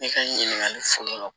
Ne ka ɲininkali fɔlɔ